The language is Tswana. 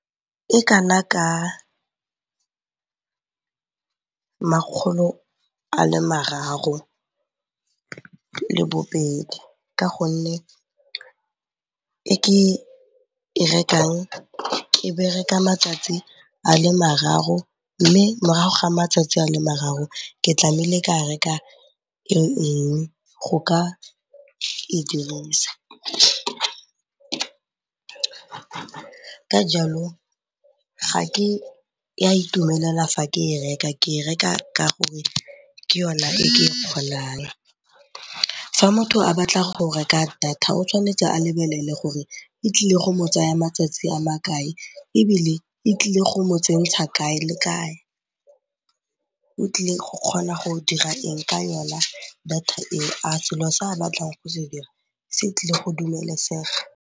E kana ka makgolo a le mararo le bobedi ka gonne e ke e rekang e bereka matsatsi a le mararo mme morago ga matsatsi a le mararo ke tlameile ka reka engwe go ka e dirisa. Ka jalo ga ke a itumelela fa ke e reka, ke e reka ka gore ke yona e ke kgonang. Fa motho a batla go reka data o tshwanetse a lebelele gore e tlile go mo tsaya matsatsi a makae ebile e tlile go mo tsentsha kae le kae, o tlile go kgona go dira eng ka yona data eo, a selo se a batlang go se dira se tlile go dumelesega.